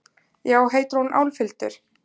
Já, heitir hún Álfhildur?